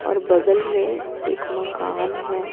और बगल में एक मकान है।